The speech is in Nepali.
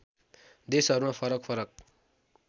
देशहरूमा फरक फरक